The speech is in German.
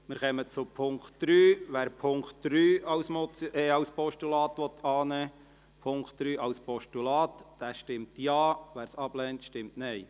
Wer den Punkt 3 dieses Postulats annehmen will, stimmt Ja, wer dies ablehnt, stimmt Nein.